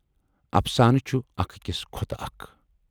اَفسانہٕ چھِ اَکھ ٲکِس کھۅتہٕ اَکھ۔